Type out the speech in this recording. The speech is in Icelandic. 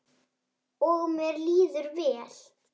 Og mér líður vel.